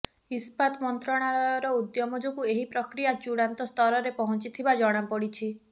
ଇସ୍ପାତ ମନ୍ତ୍ରଣାଳୟର ଉଦ୍ୟମ ଯୋଗୁଁ ଏହି ପ୍ରକ୍ରିୟା ଚୂଡ଼ାନ୍ତ ସ୍ତରରେ ପହଞ୍ଚିଥିବା ଜଣାପଡ଼ିଛି